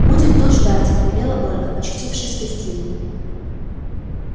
будем тут ждать велела ольга очутившись в гостиной